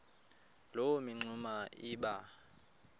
loo mingxuma iba